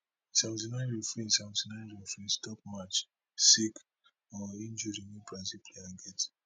seventy nine referee seventy nine referee stop match sake or injury wey brazil player get